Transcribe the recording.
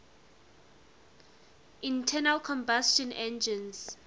internal combustion engines